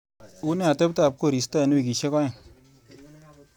Une ateptap korista eng wikishek aeng?